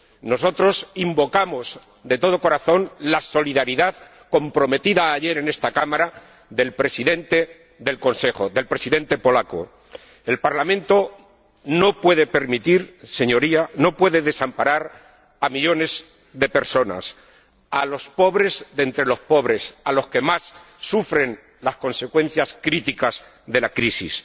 Nosotros invocamos, de todo corazón, la solidaridad —comprometida ayer en esta Cámara— del Presidente en ejercicio del Consejo, de la Presidencia polaca. Señorías, el Parlamento no puede desamparar a millones de personas, a los pobres de entre los pobres, a los que más sufren las consecuencias críticas de la crisis.